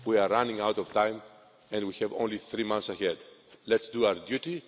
We are running out of time and we have only three months ahead. Let's do our